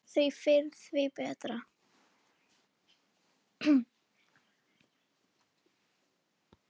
Því fyrr því betra.